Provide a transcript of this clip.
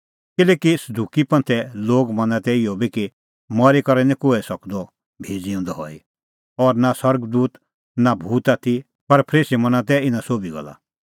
किल्हैकि सदुकी लोग मना तै इहअ बी कि मरी करै निं कोहै सकदअ भी ज़िऊंदअ हई और नां स्वर्ग दूत और नां भूत आथी पर फरीसी मना तै इना सोभी गल्ला